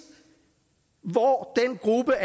hvor den gruppe